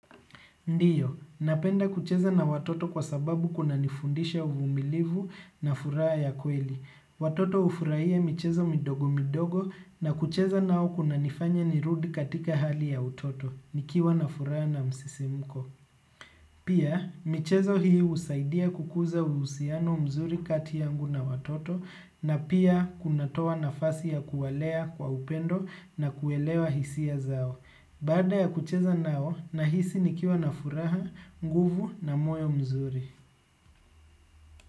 Ndiyo, napenda kucheza na watoto kwa sababu kunanifundisha uvumilivu na furaha ya kweli. Watoto hufurahia michezo midogo midogo na kucheza nao kunanifanya nirudi katika hali ya utoto, nikiwa na furaha na msisimuko. Pia, michezo hii husaidia kukuza uhusiano mzuri kati yangu na watoto na pia kunatoa nafasi ya kuwalea kwa upendo na kuelewa hisia zao. Baada ya kucheza nao, nahisi nikiwa na furaha, nguvu na moyo mzuri.